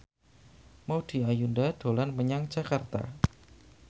Maudy Ayunda dolan menyang Jakarta